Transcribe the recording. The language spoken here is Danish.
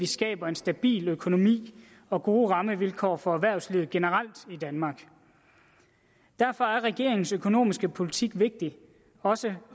skaber en stabil økonomi og gode rammevilkår for erhvervslivet generelt i danmark derfor er regeringens økonomiske politik vigtig også